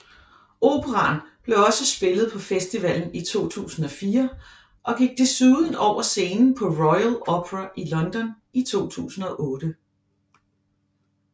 Operaen blev også spillet på festivalen i 2004 og gik desuden over scenen på Royal Opera i London i 2008